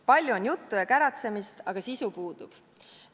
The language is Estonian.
Palju on juttu ja käratsemist, aga sisu puudub.